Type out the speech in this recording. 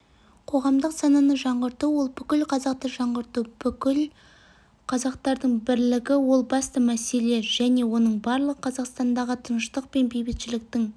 қоғамдық сананы жаңғырту ол бүкіл қазақты жаңғырту бірлік бүкіл қазақтардың бірлігі ол басты мәселе және оның барлығы қазақстандағы тыныштық пен бейбітшіліктің